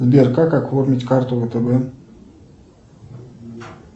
сбер как оформить карту втб